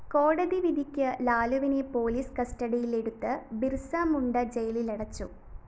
കോടതി വിധിക്കു ലാലുവിനെ പോലീസ് കസ്റ്റഡിയിലെടുത്ത് ബിര്‍സ മുണ്ട ജയിലിലടച്ചു